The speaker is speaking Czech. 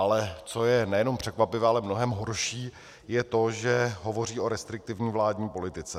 Ale co je nejenom překvapivé, ale mnohem horší, je to, že hovoří o restriktivní vládní politice.